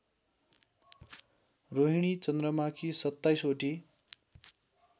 रोहिणी चन्द्रमाकी सत्ताईसवटी